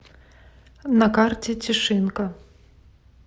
на карте тишинка